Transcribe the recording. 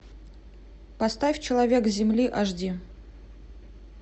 поставь человек земли аш ди